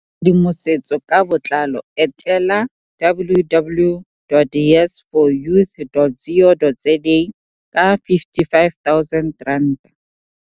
Go bona tshedimosetso ka botlalo etela - www.yes4youth.co.za. Ka R55 000.